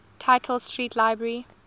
tite street library